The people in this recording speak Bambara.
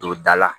Don da la